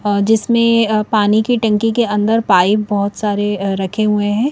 जिसमें पानी की टंकी के अंदर पाइप बहुत सारे रखे हुए हैं।